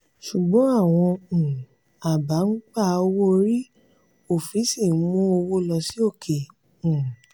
ṣùgbọ́n àwọn um aba ń gba owó orí òfin sì ń mú owó lọ sí òkè. um